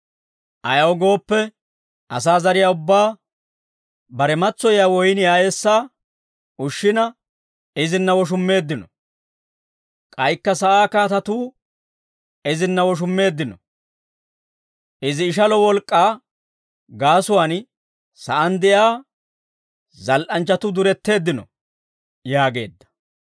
Ayaw gooppe, asaa zariyaa ubbaa, bare matsoyiyaa woyniyaa eessaa ushshina, izinna woshummeeddino. K'aykka sa'aa kaatatuu, izinna woshummeeddino. Izi ishalo wolk'k'aa gaasuwaan, sa'aan de'iyaa zal"anchchatuu duretteeddino» yaageedda.